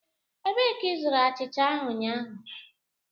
Ebee ka ịzụrụ achịcha ahụ ụnyaahụ?